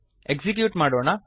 execute ಮಾಡೋಣ